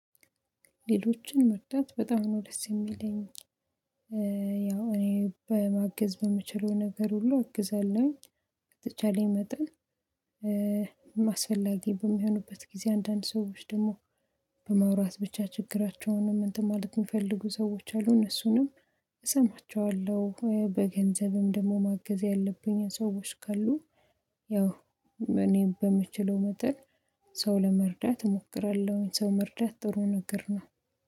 ሌሎችን መርዳት በጣም ነው ደስ የሚለኝ። ያው እኔ በ ማገዝ በምችለው ነገር ሁሉ አግዛለሁኝ በተቻለኝ መጠን። አስፈላጊ በሚሆኑበት ጊዜ አንዳንድ ሰዎች ደግሞ፤ በማውራት ብቻ ችግራቸውንም እንትን ማለት የሚፈልጉ ሰዎች አሉ። እነሱንም እሰማቸዋለሁ። በገንዘብም ደግሞ ማገዝ ያለብኝ ሰዎች ካሉ፤ ያው እኔ በምችለው መጠን ሰው ለመርዳት እሞክራለሁኝ። ሰው መርዳት ጥሩ ነገር ነው።